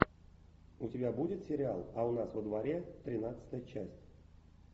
у тебя будет сериал а у нас во дворе тринадцатая часть